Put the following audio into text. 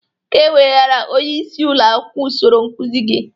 Ị ga-ewegara onyeisi ụlọ akwụkwọ usoro nkụzị gị!